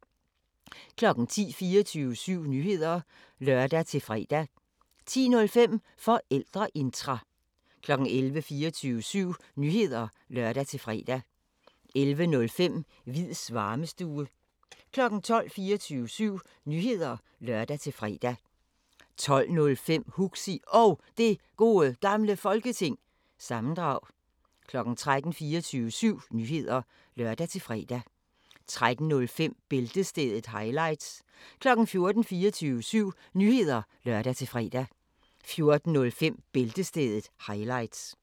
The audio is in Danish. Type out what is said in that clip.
10:00: 24syv Nyheder (lør-fre) 10:05: Forældreintra 11:00: 24syv Nyheder (lør-fre) 11:05: Hviids Varmestue 12:00: 24syv Nyheder (lør-fre) 12:05: Huxi Og Det Gode Gamle Folketing- sammendrag 13:00: 24syv Nyheder (lør-fre) 13:05: Bæltestedet – highlights 14:00: 24syv Nyheder (lør-fre) 14:05: Bæltestedet – highlights